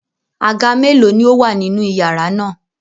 Àga mélòó ni ó wà nínú iyàrá náà?